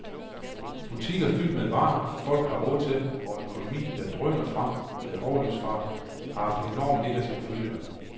Butikker fyldt med varer, folk har råd til, og en økonomi, der drøner frem med overlydsfart, har haft enorme negative følger.